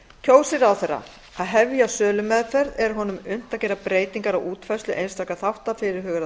kjósi ráðherra að hefja sölumeðferð er honum unnt að gera breytingar á útfærslu einstakra þátta fyrirhugaðrar